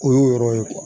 O y'o yɔrɔ ye